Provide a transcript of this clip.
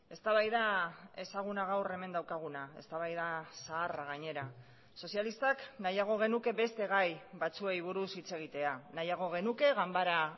eztabaida ezaguna gaur hemen daukaguna eztabaida zaharra gainera sozialistak nahiago genuke beste gai batzuei buruz hitz egitea nahiago genuke ganbara